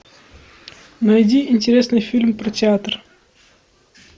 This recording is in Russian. найди интересный фильм про театр